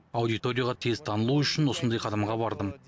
аудиторияға тез танылу үшін осындай қадамға бардым